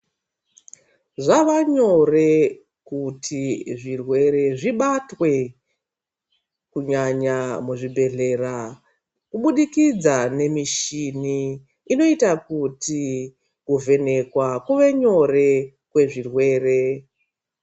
Zvava nyore kuti zvirwere zvibatwa kunyanya muzvibhedhlera kubudikidza ngemishini inoita kuti kuvhenekwa kuve nyore kwezvirwere.